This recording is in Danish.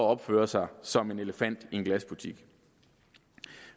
opfører sig som en elefant i en glasbutik